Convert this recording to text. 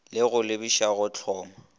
le go lebiša go hloma